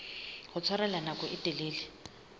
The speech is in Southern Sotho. ho tshwarella nako e telele